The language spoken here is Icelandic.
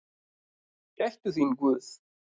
Gæti þín Guð.